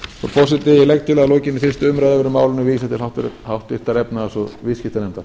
forseti ég legg til að að lokinni fyrstu umræðu verði málinu vísað til háttvirtrar efnahags og viðskiptanefndar